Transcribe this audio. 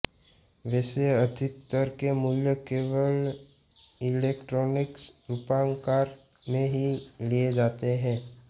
वैसे अधिकतर के मूल्य केवल इलैक्ट्रॉनिक रूपाकार में ही लिए जाते हैं